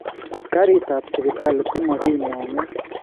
Karit ap Sipitali komokimong�u